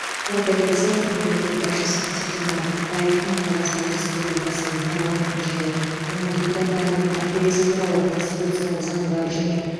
қорыта кетсем мемлекет басшысы қасым жомарт тоқаевтың қазақстан республикасының парламенті және оның депутаттарының мәртебесі туралы конституциялық заңға және